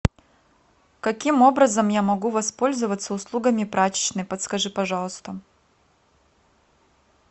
каким образом я могу воспользоваться услугами прачечной подскажи пожалуйста